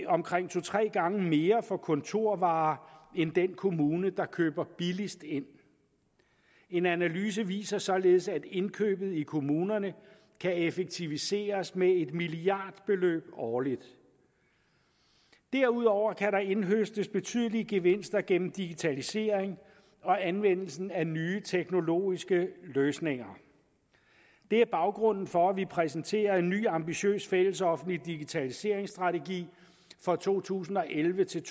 omkring to tre gange mere for kontorvarer end den kommune der køber billigst ind en analyse viser således at indkøbet i kommunerne kan effektiviseres med et milliardbeløb årligt derudover kan der indhøstes betydelige gevinster gennem digitalisering og anvendelsen af nye teknologiske løsninger det er baggrunden for at vi præsenterer en ny ambitiøs fællesoffentlig digitaliseringsstrategi for to tusind og elleve til